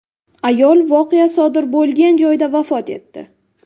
Ayol voqea sodir bo‘lgan joyda vafot etdi.